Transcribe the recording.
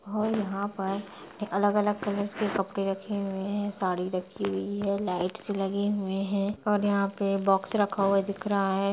और यहाँ पर अलग-अलग कलर्स के कपड़े रखे हुए हैं साड़ी रखी हुई है लाइट्स लगे हुए हैं और यहाँ पे बॉक्स रखा हुआ दिख रहा है।